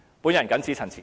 我謹此陳辭。